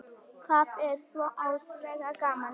Það er svo ótrúlega gaman